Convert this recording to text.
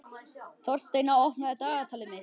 Þórsteina, opnaðu dagatalið mitt.